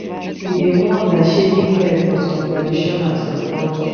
we dey mourn by shaving head for some tradition and some culture